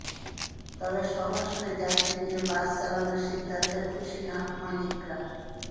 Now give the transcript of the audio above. তবে সব আসনে যাত্রী নিয়ে বাস চালানোর সিদ্ধান্তে খুশি মালিকরা